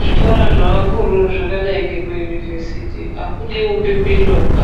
Zvikora zvevakuru zvakadai ngemayunivhesiti akudi umbimbindoga